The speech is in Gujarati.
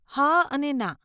હા અને ના.